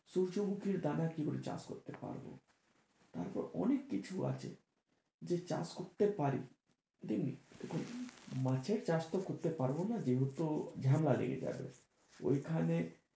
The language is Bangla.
সূর্যমুখীর দানা কি করে চাষ করতে পারবো? তারপর অনেক কিছু আছে যে চাষ করতে পারি, দেখুন মাছের চাষ তো করতে পারবো না যে হেতু ঝামেলা লেগে যাবে ওই খানে।